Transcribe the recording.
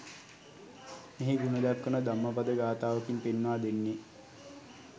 මෙහි ගුණ දක්වන ධම්මපද ගාථාවකින් පෙන්වා දෙන්නේ